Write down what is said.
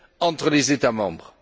entre les États membres.